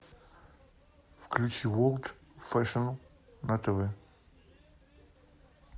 включи ворлд фэшн на тв